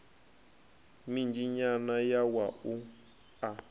minzhi nyana ya wua a